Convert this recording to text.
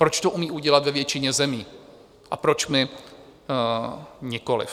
Proč to umí udělat ve většině zemí a proč my nikoli?